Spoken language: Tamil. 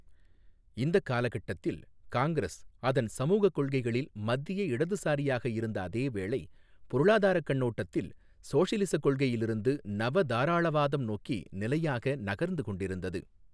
இந்தக் காலகட்டத்தில் காங்கிரஸ் அதன் சமூகக் கொள்கைகளில் மத்திய இடதுசாரியாக இருந்த அதேவேளை, பொருளாதாரக் கண்ணோட்டத்தில் சோஷிலிஸக் கொள்கையிலிருந்து நவதாராளவாதம் நோக்கி நிலையாக நகர்ந்து கொண்டிருந்தது.